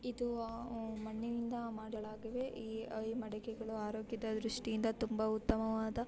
ಇದು ಆಹ್ ಮಣ್ಣಿನಿಂದ ಮಾಡಿರುವಂತಹ ಮಡಿಕೆಗಳನ್ನು ಮಡಿಕೆಗಳ ರೂಪಗಳಾಗಿವೆ. ಈ ಮಡಿಕೆಗಳು ಆರೋಗ್ಯದ ದೃಷ್ಟಿಯಿಂದ ತುಂಬಾ ಉತ್ತಮವಾದ --